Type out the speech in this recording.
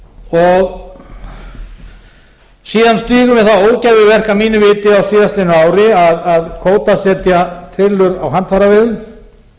styðjum við það ógæfuverk að mínu viti á síðastliðnu ári að kvótasetja trillur á handfæraveiðum